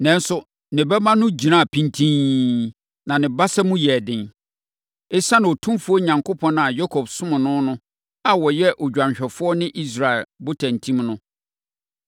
Nanso, ne bɛma no gyinaa pintinn, na ne basa mu yɛɛ den; esiane Otumfoɔ Onyankopɔn a Yakob somm no no a ɔyɛ odwanhwɛfoɔ ne Israel botantim no;